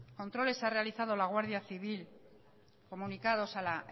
controles ha realizado la guardia civil comunicados a la